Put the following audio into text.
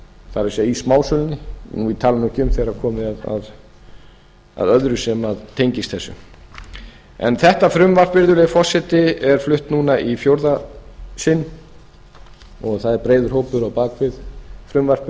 það er í smásölunni ég tala nú ekki um þegar komið er að öðru sem tengist þessu þetta frumvarp virðulegi forseti er flutt núna í fjórða sinn og það er breiður hópur á bak við frumvarpið